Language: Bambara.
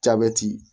Jabɛti